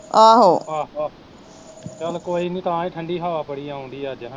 ਆਹ ਆਹੋ ਚੱਲ ਕੋਈ ਨੀ ਤਾਂਹੀਂ ਠੰਡੀ ਹਵਾ ਬੜੀ ਆਉਣ ਡਈ ਅੱਜ ਹੈਨਾ